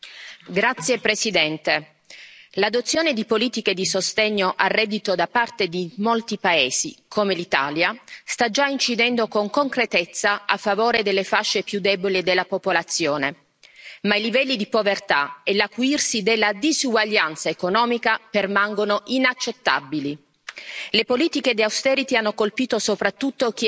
Signora Presidente, onorevoli colleghi, l'adozione di politiche di sostegno al reddito da parte di molti paesi, come l'Italia, sta già incidendo con concretezza a favore delle fasce più deboli della popolazione, ma i livelli di povertà e l'acuirsi della disuguaglianza economica permangono inaccettabili.